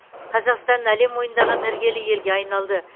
қазақстан әлем мойындаған іргелі елге айналды